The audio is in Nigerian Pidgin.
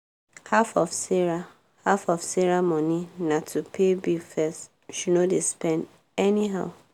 half of sarah half of sarah money na to pay bill first she no dey spend any how.